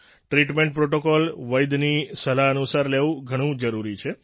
treatment protocol વૈદ્યની સલાહ અનુસાર લેવું ઘણું જરૂરી છે